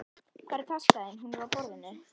Hvar er taskan þín? Hún er á borðinu.